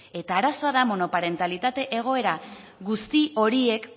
eta arazoa da monoparentalitate egoera guzti horiek